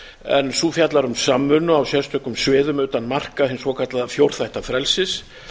en sú fjallar um samvinnu á sérstökum sviðum utan marka hins svokallaða fjórþætta frelsis